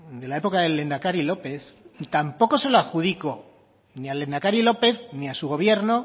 de la época del lehendakari lópez tampoco se lo adjudico ni al lehendakari lópez ni a su gobierno